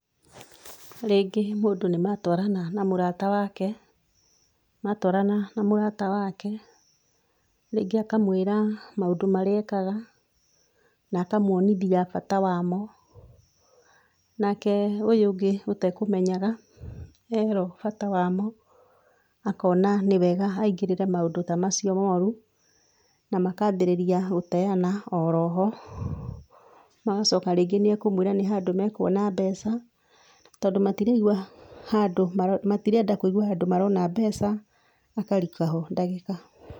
Rĩngĩ mũndũ nĩmatwarana na mũrata wake, matwarana na mũrata wake, rĩngĩ akamwĩra maũndũ marĩa ekaga, na akamwonithia bata wamo, nake ũyũ ũngĩ ũtekũmenyaga, erũo bata wamo, akona nĩ wega aingĩrĩre maũndũ ta macio moru, namakambĩrĩria gũteana oroho, magacoka rĩngĩ nĩekũmwĩra nĩ handũ mekuona mbeca, tondũ matiraigua handũ matirenda kũigua handũ marona mbeca, makarika ho ndagĩka.